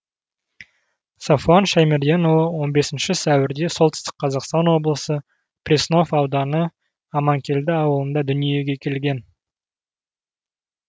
сафуан шаймерденұлы он бесінші сәуірде солтүстік қазақстан облысы преснов ауданы аманкелді ауылында дүниеге келген